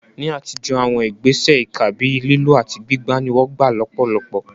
Ní àtijọ́, àwọn ìgbésẹ̀ ìkà bíi lílù àti gbígbá ni wọ́n gbà lọ́pọ̀lọpọ̀.